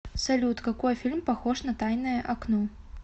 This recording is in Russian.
салют какои фильм похож на таиное окно